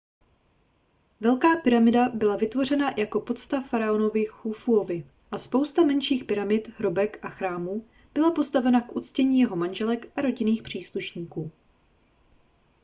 velká pyramida byla vytvořena jako pocta faraonovi chufuovi a spousta menších pyramid hrobek a chrámů byla postavena k uctění jeho manželek a rodinných příslušníků